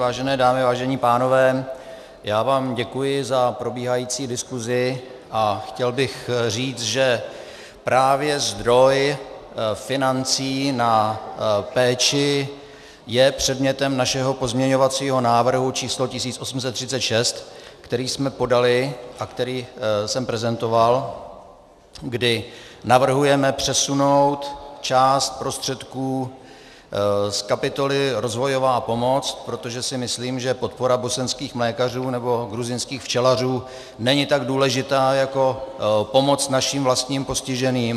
Vážené dámy, vážení pánové, já vám děkuji za probíhající diskuzi a chtěl bych říct, že právě zdroj financí na péči je předmětem našeho pozměňovacího návrhu číslo 1836, který jsme podali a který jsem prezentoval, kdy navrhujeme přesunout část prostředků z kapitoly rozvojová pomoc, protože si myslím, že podpora bosenských mlékařů nebo gruzínských včelařů není tak důležitá jako pomoc naším vlastním postižených.